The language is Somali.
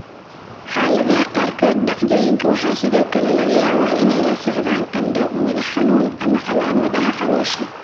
Xaaladaha qaarkood, dhacdooyinka waxaa sidoo kale laga yaabaa inay la socdaan qandho, madax-xanuun, ama calaamadaha caloosha.